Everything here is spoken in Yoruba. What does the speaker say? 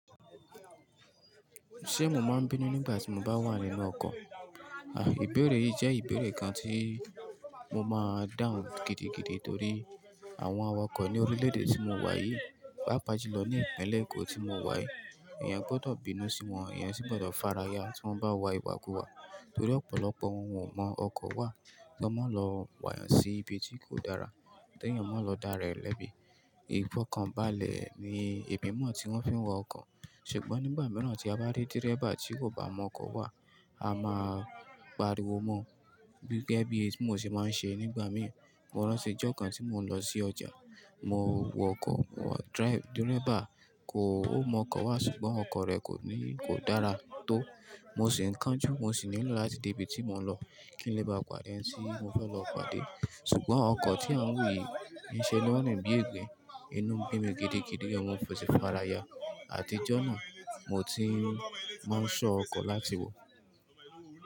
Ṣé mo máa ń bínú nígbà tí mo bá wà nínú ọkọ̀? Àì, ìbéèrè yìí jẹ́ ìbéèrè kan tí mo máa dáhùn gidigidi torí àwọn awakọ̀ ní orílẹ̀ èdè tí mo wà yìí, pàápàá jùlọ ní ìpínlẹ̀ Èkó tí mo wà yìí, èèyàn gbọ́dọ̀ bínú sí wọn, èèyàn sì gbọ́dọ̀ faraya tí wọ́n bá wa ìwàkùwà torí ọ̀pọ̀lọpọ̀ wọn ọmọ ọkọ̀ wà kan máa ń lọ pà yàn sí ibi tí kò dára ke èèyàn máa ń lọ dára rẹ̀ lẹ́bi. Ifọ̀ kan balẹ̀ ni ìgbìmọ̀ tí wọ́n fi ń wa ọkọ̀. Ṣùgbọ́n nígbà mìíràn tí a bá rí dírẹ́bà tí kò bá mọ ọkọ̀ wà, a máa pariwo mọ́, gẹ́gẹ́ bí èmi ò sì máa ń ṣe nígbà míì. Mo rántí ọjọ́ kan tí mò ń lọ sí ọjà, mo wọ ọkọ̀, dírẹ́bà kò-- ó mọ ọkọ̀ wà ṣùgbọ́n ọkọ̀ rẹ̀ kò ní-- kò dára tó. Mo sì ń kánjú, mo sì nílò láti dé ibi tí mò ń lọ kí n lè ba pàdé ẹni tí mo fẹ́ lọ pàdé. Ṣùgbọ́n ọkọ̀ tí à ń wi yìí ń ṣe lón rìn bí igbin, inú ń bínú mi gidigidi, mọ òfin sì faraya. Àdíjọ́ náà mo ti máa ń ṣọ́ ọkọ̀ láti wọ̀.